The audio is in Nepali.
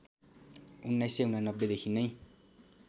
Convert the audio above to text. १९८९ देखि नै